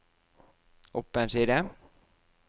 opp en side